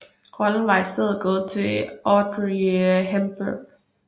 Rollen var i stedet gået til Audrey Hepburn